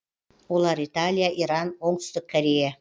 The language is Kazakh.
олар италия иран оңтүстік корея